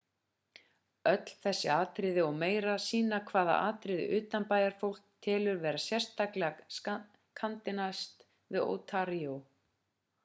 öll þessi atriði og meira sýna hvaða atriði utanbæjarfólk telur vera sérstaklega kanadísk við ontario